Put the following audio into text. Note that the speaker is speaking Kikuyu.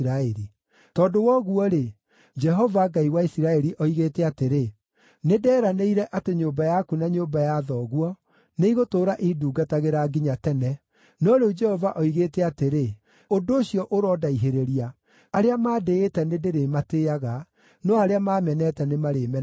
“Tondũ wa ũguo-rĩ, Jehova, Ngai wa Isiraeli, oigĩte atĩrĩ, ‘Nĩnderanĩire atĩ nyũmba yaku na nyũmba ya thoguo nĩigũtũũra indungatagĩra nginya tene.’ No rĩu Jehova oigĩte atĩrĩ, ‘Ũndũ ũcio ũrondaihĩrĩria! Arĩa mandĩĩte nĩndĩrĩmatĩĩaga, no arĩa maamenete nĩmarĩmenagwo.